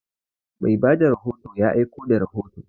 Mai ba da rahoto ya aiko da rahoto.